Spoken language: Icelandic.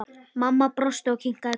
Mamma brosti og kinkaði kolli.